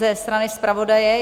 Ze strany zpravodaje?